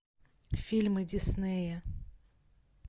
фильмы диснея